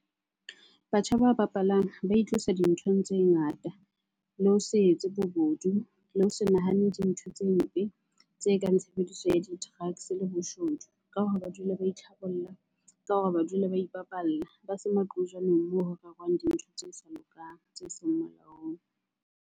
Batjha ba bapalang ba itlosa dinthong tse ngata, le ho se etse bobodu, le ho se nahane dintho tse mpe tse kang tshebediso ya di-drugs-e le boshodu. Ka hore ba dule ba itlhabolla, ka hore ba dule ba ipapalla. Ba se moo ho rerwang dintho tse sa lokang, tse seng molaong.